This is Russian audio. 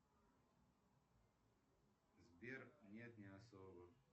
сбер нет не особо